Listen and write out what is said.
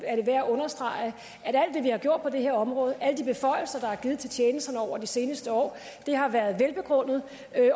er værd at understrege at vi har gjort på det her område alle de beføjelser der er givet til tjenesterne over de seneste år har været velbegrundet